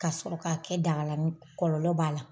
Ka sɔrɔ k'a kɛ daga la, kɔlɔlɔ b'a la.